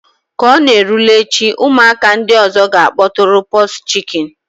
Ka ọ na-erule echi, ụmụaka ndị ọzọ ga-akpọtụrụ pox chicken